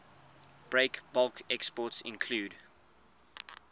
breakbulk exports include